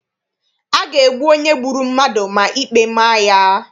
A ga-egbu onye gburu mmadụ ma ikpe ma ya.